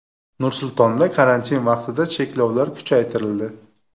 Nur-Sultonda karantin vaqtida cheklovlar kuchaytirildi.